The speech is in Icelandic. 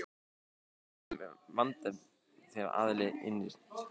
Skýrasta dæmið um vanefnd er þegar aðili innir ekki greiðslu sína af hendi.